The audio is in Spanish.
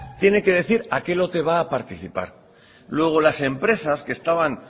tiene que decir a qué lote va a participar luego las empresas que estaban